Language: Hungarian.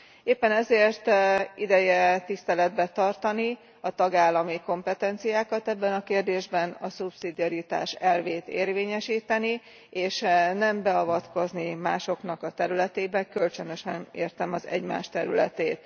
Éppen ezért ideje tiszteletben tartani a tagállami kompetenciákat ebben a kérdésben, a szubszidiaritás elvét érvényesíteni, és nem beavatkozni másoknak a területébe kölcsönösen értem az egymás területét.